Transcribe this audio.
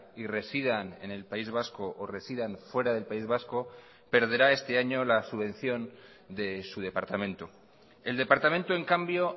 y residan en el país vasco o residan fuera del país vasco perderá este año la subvención de su departamento el departamento en cambio